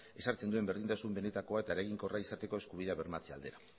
ezartzen duen berdintasun benetakoa eta eraginkorra izateko eskubidea bermatzea aldera